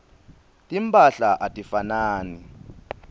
timphahla atifanani